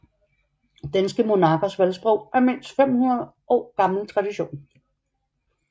Danske monarkers valgsprog er en mindst 500 år gammel tradition